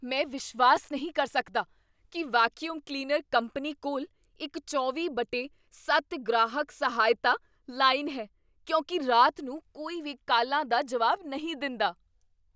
ਮੈਂ ਵਿਸ਼ਵਾਸ ਨਹੀਂ ਕਰ ਸਕਦਾ ਕੀ ਵੈਕਯੂਮ ਕਲੀਨਰ ਕੰਪਨੀ ਕੋਲ ਇੱਕ ਚੌਵੀਂ ਬਟੇ ਸੱਤ ਗ੍ਰਾਹਕ ਸਹਾਇਤਾ ਲਾਈਨ ਹੈ ਕਿਉਂਕਿ ਰਾਤ ਨੂੰ ਕੋਈ ਵੀ ਕਾਲਾਂ ਦਾ ਜਵਾਬ ਨਹੀਂ ਦਿੰਦਾ